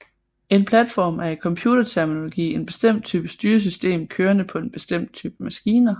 En platform er i computerterminologi en bestemt type styresystem kørende på en bestemt type maskiner